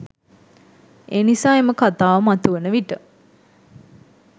එනිසා එම කතාව මතුවන විට